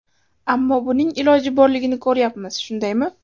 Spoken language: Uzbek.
Ammo buning iloji borligini ko‘ryapmiz, shundaymi?